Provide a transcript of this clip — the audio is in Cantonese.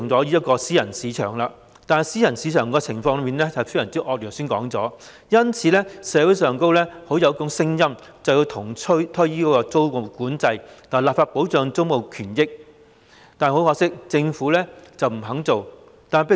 不過，正如剛才所說，私人市場的情況非常惡劣，社會上因而出現要求重推租務管制、立法保障租務權益的聲音，但政府卻不肯做。